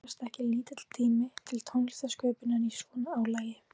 En gefst ekki lítill tími til tónlistarsköpunar í svona álagi?